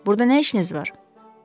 Burda nə işiniz var?